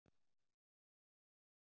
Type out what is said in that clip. Hleypur bara í hringi Besti samherjinn?